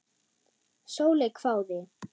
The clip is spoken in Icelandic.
Sóley hváði.